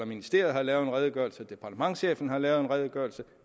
ministeriet har lavet en redegørelse departementschefen har lavet en redegørelse